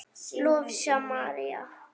Lovísa María.